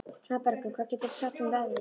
Svanbergur, hvað geturðu sagt mér um veðrið?